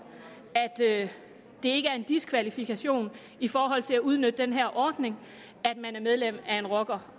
at det ikke er en diskvalifikation i forhold til at udnytte den her ordning at man er medlem af en rockerklub